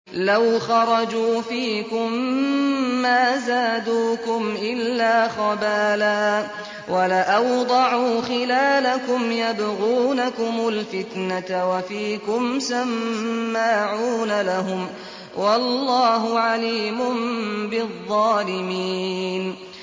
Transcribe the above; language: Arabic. لَوْ خَرَجُوا فِيكُم مَّا زَادُوكُمْ إِلَّا خَبَالًا وَلَأَوْضَعُوا خِلَالَكُمْ يَبْغُونَكُمُ الْفِتْنَةَ وَفِيكُمْ سَمَّاعُونَ لَهُمْ ۗ وَاللَّهُ عَلِيمٌ بِالظَّالِمِينَ